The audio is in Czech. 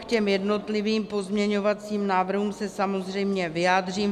K těm jednotlivým pozměňovacím návrhům se samozřejmě vyjádřím.